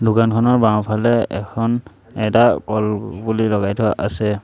দোকানখনৰ বাওঁফালে এখন এটা কলপুলি লগাই থোৱা আছে।